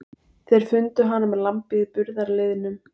Þeir fundu hana með lambið í burðarliðnum.